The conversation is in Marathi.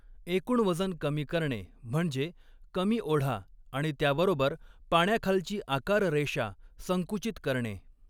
एकूण वजन कमी करणे म्हणजे कमी ओढा आणि त्याबरोबर पाण्याखालची आकाररेषा संकुचित करणे.